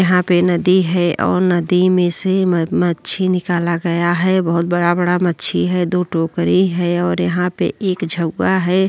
यहाँ पे नदी है और नदी में से मछली निकाला गया हैं। बहोत बड़ा-बड़ा मछली हैं। दो टोकरी हैं और यहाँ पे एक झउवा है।